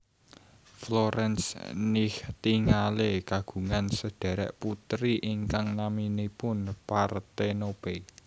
Florence Nightingale kagungan sedhèrèk putri ingkang naminipun Parthenope